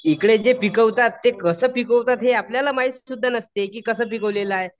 इकडे जे पिकवतात कसं पिकवतात हे आपल्याला माहित सुद्धा नसते की कसं पिकवलेलं आहे.